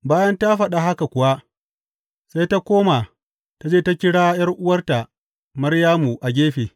Bayan ta faɗa haka kuwa, sai ta koma ta je ta kira ’yar’uwarta Maryamu a gefe.